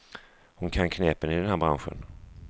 Hon kan knepen i den här branschen.